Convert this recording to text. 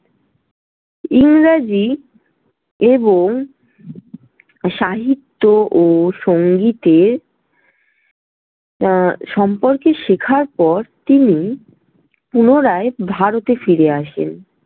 ইংরেজি এবং সাহিত্য ও সংগীত এর আহ সম্পর্কে শেখার পর তিনি পুনরায় ভারতে ফিরে আসেন।